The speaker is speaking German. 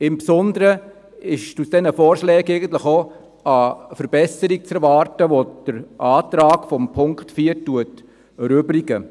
Insbesondere ist von diesen beiden Vorschlägen eine Verbesserung zu erwarten, welche den Antrag von Punkt 4 erübrigen.